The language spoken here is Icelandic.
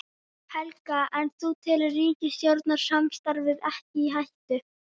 Helga: En þú telur ríkisstjórnarsamstarfið ekki í hættu?